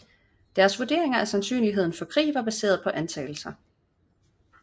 Deres vurderinger af sandsynligheden for krig var baseret på antagelser